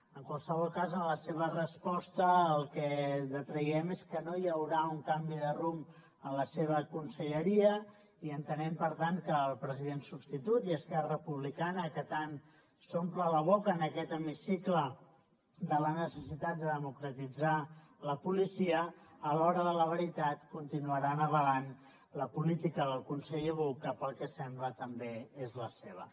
en qualsevol cas de la seva resposta el que traiem és que no hi haurà un canvi de rumb en la seva conselleria i entenem per tant que el president substitut i esquerra republicana que tant s’omplen la boca en aquest hemicicle de la necessitat de democratitzar la policia a l’hora de la veritat continuaran avalant la política del conseller buch que pel que sembla també és la seva